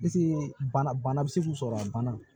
bana bɛ se k'u sɔrɔ a banna